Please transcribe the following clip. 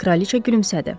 Kraliça gülümsədi.